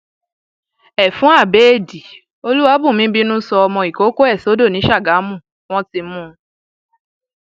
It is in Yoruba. ẹfun abẹẹdì olúwàbùnmí bínú sọ ọmọ ìkọkọ ẹ sódò ni sàgámù wọn ti mú un